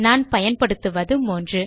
நான் பயன்படுத்துவது 3